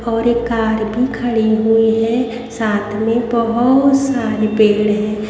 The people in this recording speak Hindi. और एक कार भी खड़ी हुई है साथ में बहुत सारे पेड़ है।